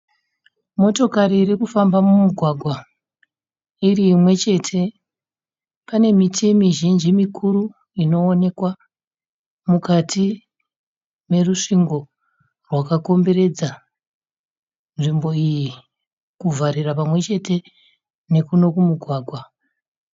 Motokari iri kufamba mumugwagwa iri imwe chete. Pane miti mizhinji mikuru inonekwa mukati merusvingo rwakakomberedza nzvimbo iyi kuvharira pamwe chete nekuno kumugwagwa.